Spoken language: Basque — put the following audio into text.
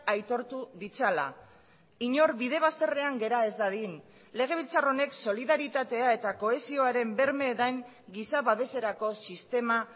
aitortu ditzala inor bide bazterrean gera ez dadin legebiltzar honek solidaritatea eta kohesioaren berme den giza babeserako sistema